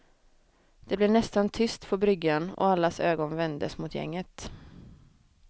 Det blev nästan tyst på bryggan och allas ögon vändes mot gänget.